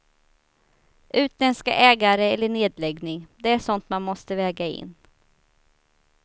Utländska ägare eller nedläggning, det är sånt man måste väga in.